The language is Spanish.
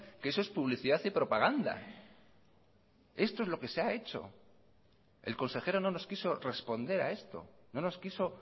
que eso es publicidad y propaganda esto es lo que se ha hecho el consejero no nos quiso responder a esto no nos quiso